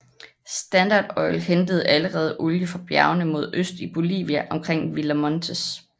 Standard Oil hentede allerede olie fra bjergene mod øst i Bolivia omkring Villa Montes